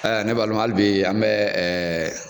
Ne balimaw hali bi an bɛ ɛ